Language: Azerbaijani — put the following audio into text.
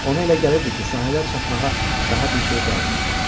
Ona elə gəlirdi ki, sahilə çatmağa daha bir şey qalmayıb.